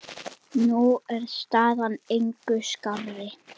Nú er staðan engu skárri.